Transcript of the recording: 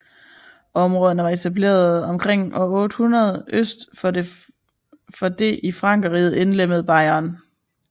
Områderne var etableret omkring år 800 øst for det i Frankerriget indlemmede Bayern